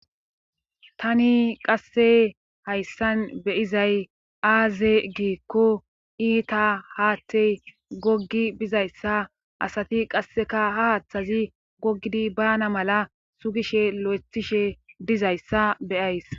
Tani qasse hayssan beyizay aaze giikko iita haattey goggi bizayssa asati qasseka ha haaththazi gogidi baana mala sugishe lo7ethishe dizayssa beyays